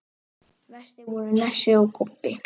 Verstir voru Nesi og Kobbi.